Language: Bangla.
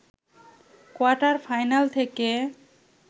কোয়ার্টার-ফাইনাল থেকে